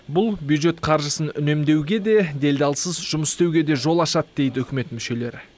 бұл бюджет қаржысын үнемдеуге де делдалсыз жұмыс істеуге де жол ашады дейді үкімет мүшелері